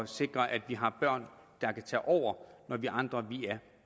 sikre at vi har børn der kan tage over når vi andre er